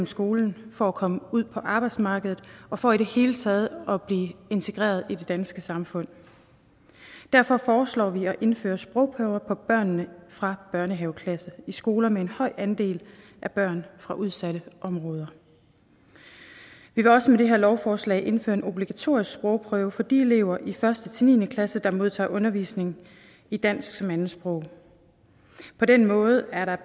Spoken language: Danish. skolen for at komme ud på arbejdsmarkedet og for i det hele taget at blive integreret i det danske samfund derfor foreslår vi at indføre sprogprøver for børnene fra børnehaveklassen i skoler med en høj andel af børn fra udsatte områder vi vil også med det her lovforslag indføre en obligatorisk sprogprøve for de elever i første ni klasse der modtager undervisning i dansk som andetsprog på den måde er der